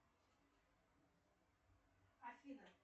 афина